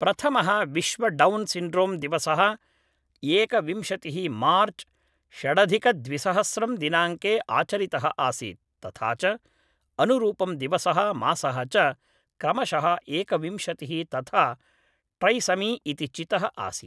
प्रथमः विश्व Down syndrome दिवसः एकविंशतिः मार्च षडधिकद्विसहस्रं दिनाङ्के आचरितः आसीत् तथा च अनुरूपं दिवसः मासः च क्रमशः एकविंशतिः तथा ट्रैसमी इति चितः आसीत्